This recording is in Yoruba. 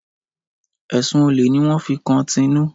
Ẹ̀sun olè ní wọ́n fi kan Tinú.